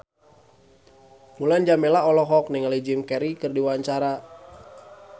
Mulan Jameela olohok ningali Jim Carey keur diwawancara